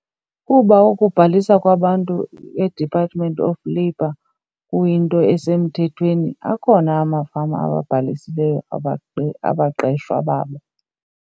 Kuba ukubhalisa kwabantu eDepartment of Labor kuyinto esemthethweni akhona amafama ababhalisileyo abaqeshwa babo.